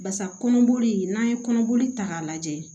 Basa kɔnɔboli n'a ye kɔnɔboli ta k'a lajɛ